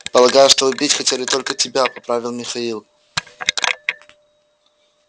полагаю что убить хотели только тебя поправил михаил